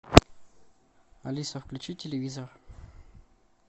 алиса включи телевизор